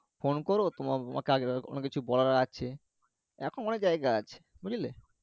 phone করো তো তোমাকে আরো কিছু বলার আছে। এখনো অনেক জায়গা আছে বুঝলে?